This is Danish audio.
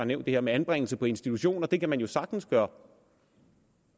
nævnt det her med anbringelse på institution og det kan man jo sagtens gøre